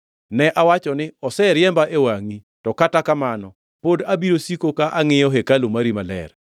Ne awacho ni, ‘Oseriemba e wangʼi; to kata kamano, pod abiro siko ka angʼiyo hekalu mari maler.’